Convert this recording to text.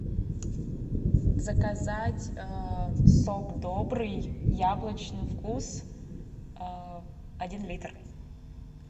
заказать сок добрый яблочный вкус один литр